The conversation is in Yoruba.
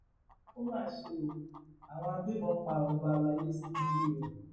ó mà ṣe o àwọn agbébọn pa ọba alayé sínú ilé rẹ